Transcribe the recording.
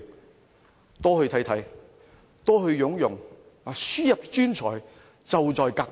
政府多去看看，多去聘用，輸入專才，就在隔壁。